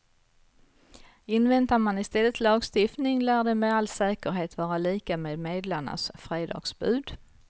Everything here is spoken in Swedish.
Inväntar man i stället lagstiftning lär den med all säkerhet vara lika med medlarnas fredagsbud.